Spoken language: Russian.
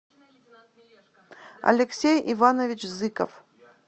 алексей иванович зыков